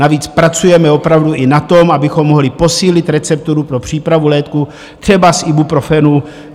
Navíc pracujeme opravdu i na tom, abychom mohli posílit recepturu pro přípravu léků, třeba z Ibuprofenu.